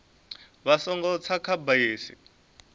vha songo tsa kha bisi